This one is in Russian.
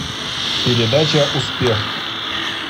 передача успех